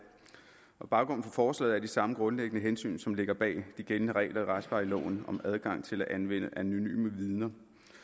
baggrunden for forslaget er de samme grundlæggende hensyn som ligger bag de gældende regler i retsplejeloven om adgangen til at anvende anonyme vidner